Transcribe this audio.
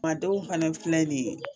Ma dɔw fana filɛ nin ye